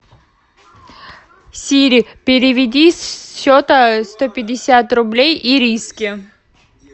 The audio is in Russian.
сири переведи с счета сто пятьдесят рублей ириске